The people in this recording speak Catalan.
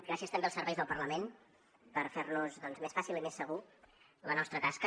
gràcies també als serveis del parlament per fernos doncs més fàcil i més segura la nostra tasca